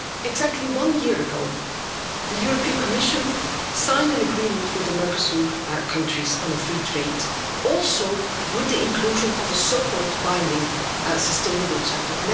Exactly one year ago, the European Commission signed an agreement with the Mercosur countries on free trade with the inclusion of a so-called binding sustainable chapter.